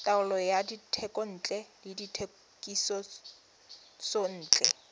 taolo ya dithekontle le dithekisontle